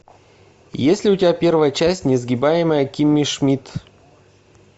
есть ли у тебя первая часть несгибаемая кимми шмидт